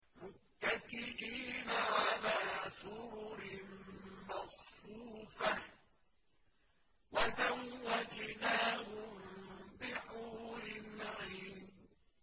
مُتَّكِئِينَ عَلَىٰ سُرُرٍ مَّصْفُوفَةٍ ۖ وَزَوَّجْنَاهُم بِحُورٍ عِينٍ